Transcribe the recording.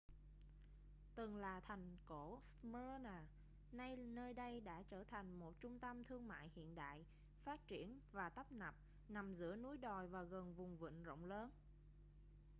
từng là thành cổ smyrna nay nơi đây đã trở thành một trung tâm thương mại hiện đại phát triển và tấp nập nằm giữa núi đồi và gần vùng vịnh rộng lớn